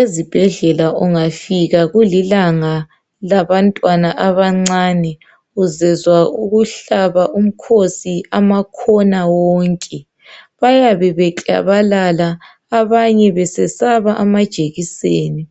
Ezibhedlela ungafika kulilanga labantwana abancane uzezwa ukuhlaba umkhosi amakhona wonke. Bayabe beklabalala, abanye besesaba amajekiseni